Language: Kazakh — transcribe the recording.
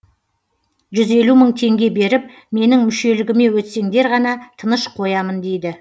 жүз елу мың теңге беріп менің мүшелігіме өтсеңдер ғана тыныш қоямын дейді